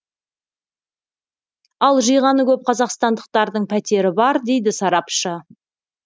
ал жиғаны көп қазақстандықтардың пәтері бар дейді сарапшы